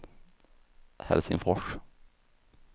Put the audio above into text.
Helsingfors